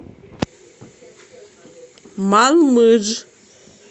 малмыж